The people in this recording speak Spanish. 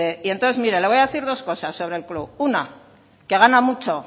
y entonces mire le voy a decir dos cosas sobre el club una que gana mucho